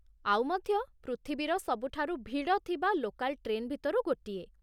ଆଉ ମଧ୍ୟ ପୃଥିବୀର ସବୁଠାରୁ ଭିଡ଼ ଥିବା ଲୋକାଲ୍ ଟ୍ରେନ୍ ଭିତରୁ ଗୋଟିଏ ।